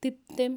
20.